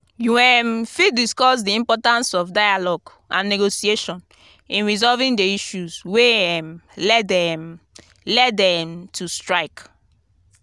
you um fit discuss di importance of dialogue and negotiation in resolving di issues wey um led um led um to strike.